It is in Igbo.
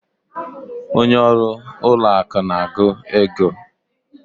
Onye ọrụ ụlọ akụ na-agụ ego.